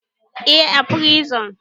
Eh, a prison